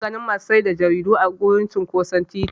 Ina ganin masu sayar da jaridu a wurin cinƙoson titi.